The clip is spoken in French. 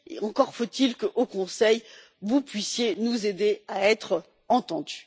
Encore faut il que, au Conseil, vous puissiez nous aider à être entendus.